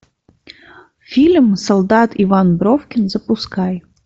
фильм солдат иван бровкин запускай